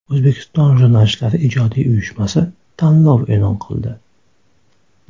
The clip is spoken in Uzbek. O‘zbekiston Jurnalistlari ijodiy uyushmasi tanlov e’lon qildi.